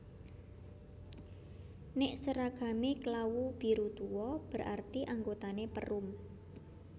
Nek seragame klawu biru tuo berarti anggotane Perum